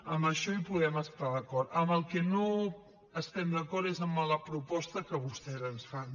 en això hi podem estar d’acord en el que no estem d’acord és amb la proposta que vostès ens fan